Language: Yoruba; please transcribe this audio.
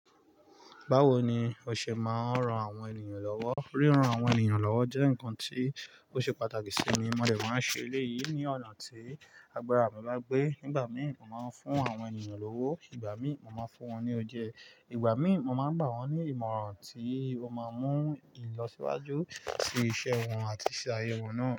Báwo ni o ṣe máa ń ran àwọn ènìyàn lọ́wọ́? Ríran àwọn ènìyàn lọ́wọ́ jẹ́ nǹkan tí ó ṣe pàtàkì sì mi. Mọ̀ de máa ń ṣe eléyìí ní ọ̀nà tí agbára mi bá gbé. Nígbà mìí mo máa ń fún àwọn ènìyàn lówó, ìgbà mìí mo máa ń fún wọn ní oúnjẹ, ìgbà mìí mo máa ń gbà wọ́n ní ìmọ̀ràn tí ó máa mú ń lọ síwájú sí iṣẹ́ wọn àti iṣẹ́ ayé wọn náà.